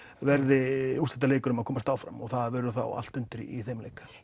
verði úrslitaleikur um að komast áfram og þá verður allt undir í þeim leik